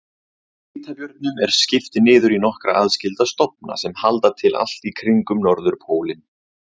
Hvítabjörnum er skipt niður í nokkra aðskilda stofna sem halda til allt í kringum norðurpólinn.